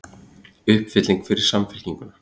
Uppfylling fyrir Samfylkinguna